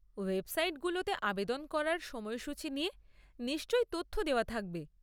Website গুলোতে আবেদন করার সময়সুচি নিয়ে নিশ্চয় তথ্য দেওয়া থাকবে।